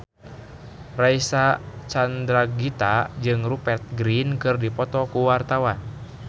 Reysa Chandragitta jeung Rupert Grin keur dipoto ku wartawan